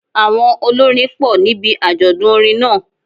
Àwọn olórin pọ̀ níbi àjọ̀dún orin náà